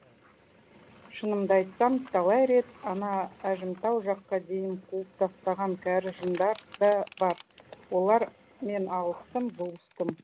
шынымды айтсам талай рет ана әжімтау жаққа дейін қуып тастаған кәрі жындар да бар олармен алыстым жұлыстым